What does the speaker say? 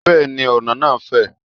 Bẹ́ẹ̀ni, ọ̀nà náà fè.